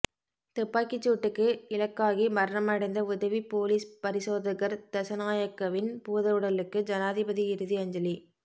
துப்பாக்கிச் சூட்டுக்கு இலக்காகி மரணமடைந்த உதவிப் பொலிஸ் பரிசோதகர் தசநாயகவின் பூதவுடலுக்கு ஜனாதிபதி இறுதி அஞ்சலி